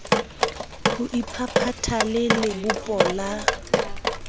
ho iphaphatha le lebopo la